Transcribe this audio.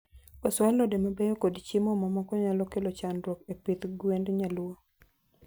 Koso alode mabeyo kod chiemo mamoko nyalo kelo chandruok epith gwend nyaluo.